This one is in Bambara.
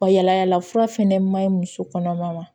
Yala yala fura fɛnɛ maɲi muso kɔnɔma ma